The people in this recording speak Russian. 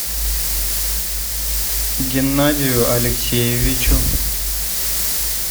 геннадию алексеевичу